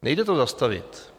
Nejde to zastavit.